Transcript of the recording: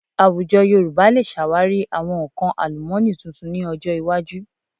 Àwùjọ Yorùbá lè ṣàwárí àwọn nǹkan àlùmọ́nì tuntun ní ọjọ iwájú